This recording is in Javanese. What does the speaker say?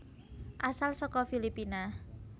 Asal saka Filipina